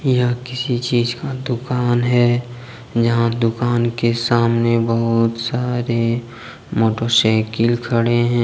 यहां किसी चीज का दुकान है जहां दुकान के सामने बहुत सारे मोटरसाइकिल खड़े हैं।